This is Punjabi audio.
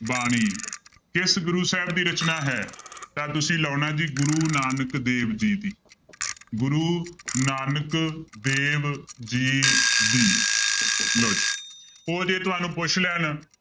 ਬਾਣੀ ਕਿਸ ਗੁਰੂ ਸਾਹਿਬ ਦੀ ਰਚਨਾ ਹੈ? ਤਾਂ ਤੁਸੀਂ ਲਾਉਣਾ ਜੀ ਗੁਰੂ ਨਾਨਕ ਦੇਵ ਜੀ ਦੀ ਗੁਰੂ ਨਾਨਕ ਦੇਵ ਜੀ ਦੀ ਲਓ ਜੀ ਉਹ ਜੇ ਤੁਹਾਨੂੰ ਪੁੱਛ ਲੈਣ